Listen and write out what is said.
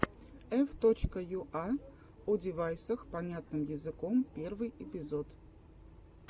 ф точка юа одевайсах понятным языком первый эпизод